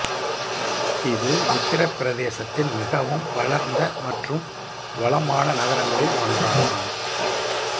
இது உத்தரபிரதேசத்தின் மிகவும் வளர்ந்த மற்றும் வளமான நகரங்களில் ஒன்றாகும்